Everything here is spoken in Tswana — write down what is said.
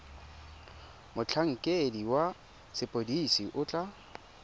motlhankedi wa sepodisi o tla